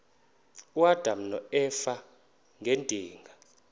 uadam noeva ngedinga